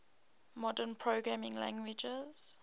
modern programming languages